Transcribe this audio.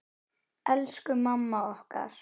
Elsku mamma okkar.